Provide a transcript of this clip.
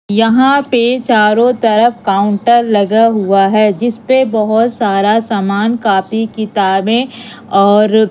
यहां पे चारों तरफ काउंटर लगा हुआ है जिस पे बहोत सारा सामान कापी किताबें और--